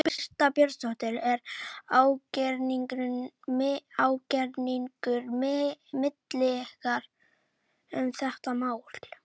Birta Björnsdóttir: Er ágreiningur milli ykkar um þetta mál?